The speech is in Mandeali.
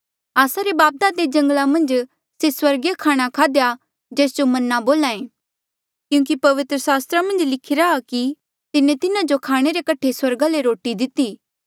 आस्सा रे बापदादे जंगला मन्झ से स्वर्गीय खाणा खाध्या जेस जो मन्ना बोल्हा ऐें क्यूंकि पवित्र सास्त्रा मन्झ लिखिरा आ कि तिन्हें तिन्हा जो खाणे रे कठे स्वर्गा ले रोटी दिती